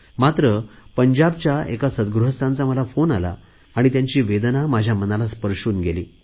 मात्र पंजाबच्या एका सद्गृहस्थांचा मला फोन आला आणि त्यांची वेदना माझ्या मनाला स्पर्शून गेली